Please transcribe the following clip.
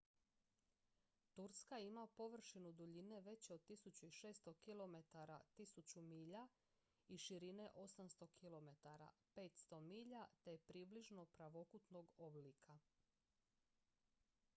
turska ima površinu duljine veće od 1600 kilometara 1000 milja i širine 800 km 500 milja te je približno pravokutnog oblika